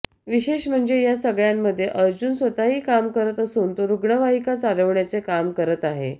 विशेष म्हणजे या सगळ्यामध्ये अर्जुन स्वतःही काम करत असून तो रुग्णवाहिका चालवण्याचे काम करत आहे